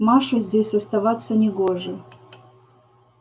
маше здесь оставаться негоже